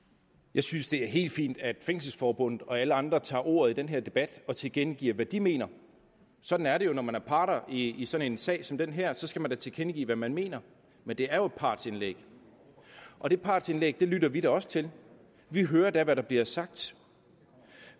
jeg synes det er helt fint at fængselsforbundet og alle andre tager ordet i den her debat og tilkendegiver hvad de mener sådan er det jo når man er part i i sådan en sag som den her så skal man da tilkendegive hvad man mener men det er jo partsindlæg og de partsindlæg lytter vi da også til vi hører da hvad der bliver sagt